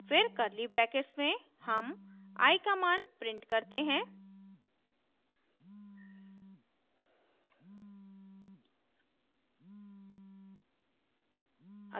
फिर curly brackets में हम i का मान print करते हैं